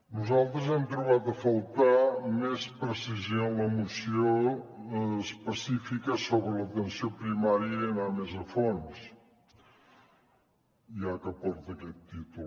nosaltres hem trobat a faltar més precisió en la moció específica sobre l’atenció primària i anar més a fons ja que porta aquest títol